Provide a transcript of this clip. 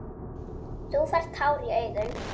Þú færð tár í augun.